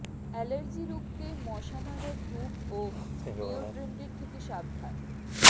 allergy রুখতে মশা মারার ধূপ ও ডিওডোরেন্ট থেকে সাবধান